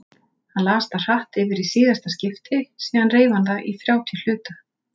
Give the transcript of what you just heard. Hann las það hratt yfir í síðasta skipti, síðan reif hann það í þrjátíu hluta.